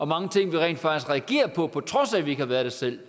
mange ting vi rent faktisk reagerer på på trods af at vi ikke har været der selv